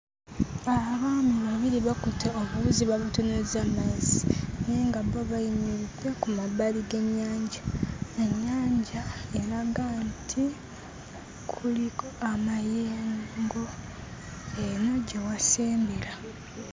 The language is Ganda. Abaana babiri bakutte obuwuzi babutunuzza mu mazzi naye nga bo bayimiridde ku mabbali g'ennyanja. Ennyanja eraga nti kuliko amayengo eno gye wasembera.